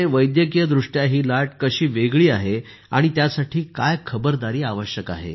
वैद्यकीय दृष्ट्या ही लाट कशी वेगळी आहे आणि त्यासाठी काय खबरदारी आवश्यक आहे